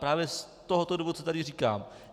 Právě z tohoto důvodu, co tady říkám.